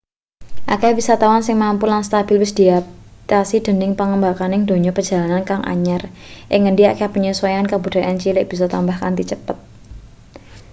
akeh wisatawan sing mampu lan stabil wis diatasi dening pangrembakaning donya perjalanan kang anyar ing ngendi akeh penyesuaian kabudayan cilik bisa tambah kanthi cepet